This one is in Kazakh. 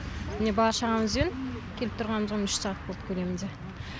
міне бала шағамызбен келіп тұрғанымызға міне үш сағат болды көлемінде